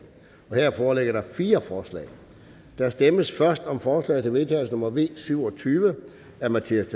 her foreligger der fire forslag der stemmes først om forslag til vedtagelse nummer v syv og tyve af mattias